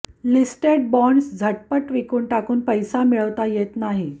listed bonds झटपट विकून टाकून पैसा मिळवता येत नाही